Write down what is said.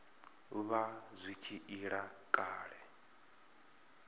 vha zwi tshi ila kale